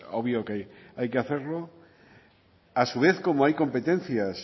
obvio que hay que hacerlo a su vez como hay competencias